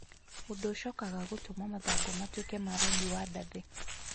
Ũndũ ũcokaga gũtũma mathangũ matuĩke ma rangi wa ndathi